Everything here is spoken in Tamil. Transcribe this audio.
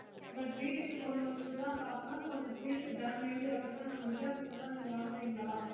but வீட்டுக்கு கொண்டு வந்துதான் பாக்குறோம் கொஞ்ச piece damage அப்புடின்னா நாங்க retun கொண்டு வந்த நீங்க வாங்குவீங்களா